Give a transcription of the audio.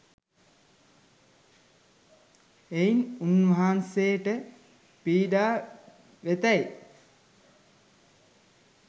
එයින් උන්වහන්සේට පීඩා වෙතැයි